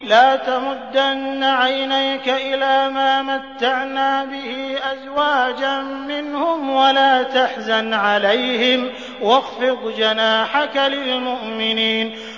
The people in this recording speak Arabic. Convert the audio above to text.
لَا تَمُدَّنَّ عَيْنَيْكَ إِلَىٰ مَا مَتَّعْنَا بِهِ أَزْوَاجًا مِّنْهُمْ وَلَا تَحْزَنْ عَلَيْهِمْ وَاخْفِضْ جَنَاحَكَ لِلْمُؤْمِنِينَ